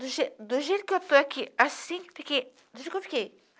Do do jeito que eu estou aqui, assim, fiquei... Do jeito que eu fiquei.